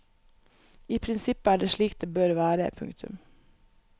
I prinsippet er det slik det bør være. punktum